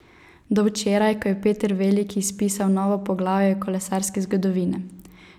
Do včeraj, ko je Peter veliki spisal novo poglavje kolesarske zgodovine.